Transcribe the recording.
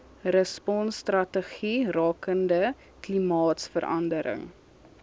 responsstrategie rakende klimaatsverandering